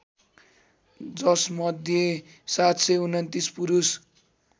जसमध्ये ७२९ पुरुष